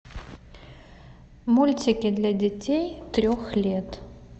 мультики для детей трех лет